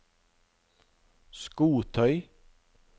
skotøy